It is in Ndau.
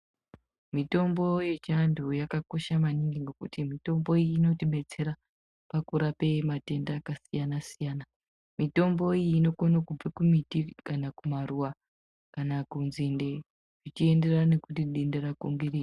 Mitombo yechiantu yakakosha maningi ngekuti mitombo iyi inotidetsera pakurape matenda akasiyana siyana mitombo iyi inokono kubve kumiti kana kumaruwa kana kunzinde zvichienderana nekuti denda rako ngerei.